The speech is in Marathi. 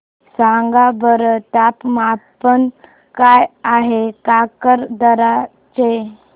सांगा बरं तापमान काय आहे काकरदरा चे